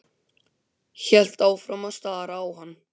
Hélt áfram að stara á hann.